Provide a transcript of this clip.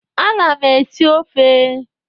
Ana m esi ofe.